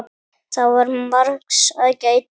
Það var margs að gæta.